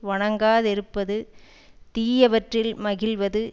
வணங்காதிருப்பது தீயவற்றில் மகிழ்வது